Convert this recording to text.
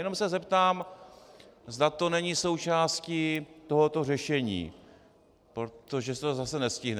Jenom se zeptám, zda to není součástí tohoto řešení, protože se to zase nestihne.